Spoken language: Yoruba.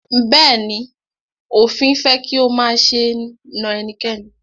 Bẹ̀ẹ́ni, òfin fẹ́ kí o máṣe na ẹnikẹ́ni.